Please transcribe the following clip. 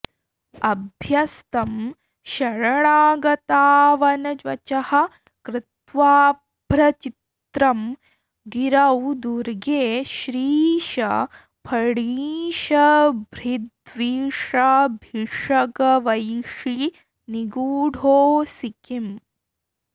अभ्यस्तं शरणागतावनवचः कृत्वाऽभ्रचित्रं गिरौ दुर्गे श्रीश फणीशभृद्विषभिषग्वेषी निगूढोऽसि किम्